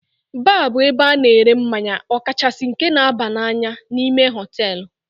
Baar bụ ebe ana ere mmanya okachasi nke na-aba n'anya, n'ime hotelú.